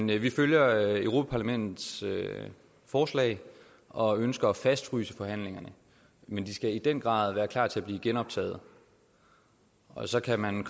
vi følger europa parlamentets forslag og ønsker at fastfryse forhandlingerne men de skal i den grad være klar til at blive genoptaget og så kan man